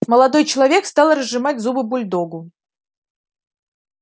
молодой человек стал разжимать зубы бульдогу